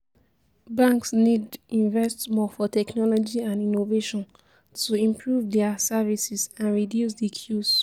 Banks need invest more for technology and innovation to improve dia services and reduce di queues.